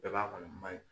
Bɛɛ b'a kɔni man ɲi